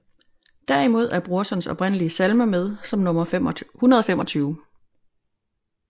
Derimod er Brorsons oprindelige salme med som nummer 125